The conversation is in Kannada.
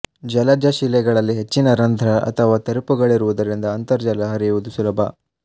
ಜಲಜ ಶಿಲೆಗಳಲ್ಲಿ ಹೆಚ್ಚಿನ ರಂಧ್ರ ಅಥವಾ ತೆರಪುಗಳಿರುವುದರಿಂದ ಅಂತರ್ಜಲ ಹರಿಯುವುದು ಸುಲಭ